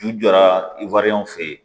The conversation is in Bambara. Ju jɔra i fɛ yen